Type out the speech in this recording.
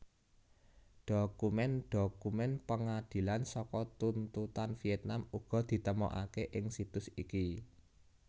Dhokumen dhokumen pangadilan saka tuntutan Vietnam uga ditemokaké ing situs iki